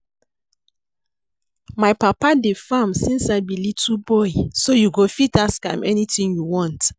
My papa dey farm since I be little boy so you go fit ask am anything you want